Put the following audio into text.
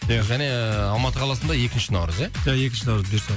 және алматы қаласында екінші наурыз ия екінші наурыз бұйырса